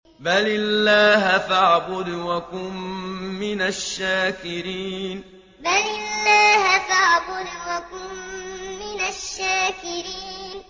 بَلِ اللَّهَ فَاعْبُدْ وَكُن مِّنَ الشَّاكِرِينَ بَلِ اللَّهَ فَاعْبُدْ وَكُن مِّنَ الشَّاكِرِينَ